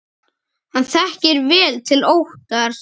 Hann þekkir vel til Óttars.